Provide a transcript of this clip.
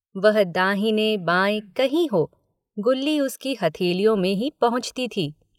वह दाहिने बाएं कहीं हो गुल्ली उसकी हथेलियों में ही पहुँचती थी।